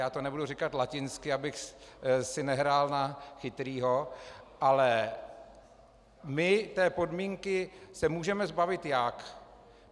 Já to nebudu říkat latinsky, abych si nehrál na chytrého, ale my té podmínky se můžeme zbavit jak?